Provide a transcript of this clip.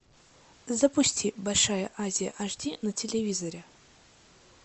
запусти большая азия аш ди на телевизоре